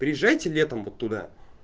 приезжайте летом вот туда